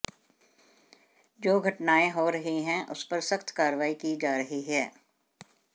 जो घटनाएं हो रही हैं उस पर सख्त कार्रवाई की जा रही है